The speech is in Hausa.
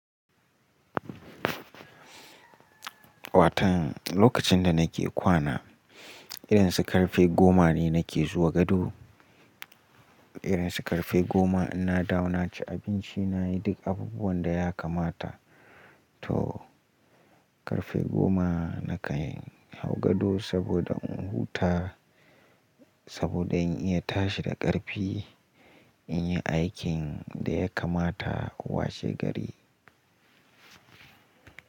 Watan, lokacin da nake kwana, irin su ƙarfe goma ne nake zuwa gado. Irin su ƙarfe goma inna dawo naci abinci, nayi duk abubuwan da ya kamata. To ƙarfe goma nakan hau gado saboda in huta, saboda in iya tashi da ƙarfi, in yi aikin da ya kamata, washe gari.